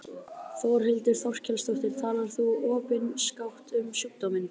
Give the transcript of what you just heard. Þórhildur Þorkelsdóttir: Talar þú opinskátt um sjúkdóminn?